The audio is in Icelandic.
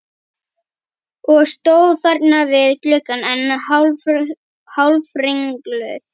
Og stóð þarna við gluggann enn hálfringluð.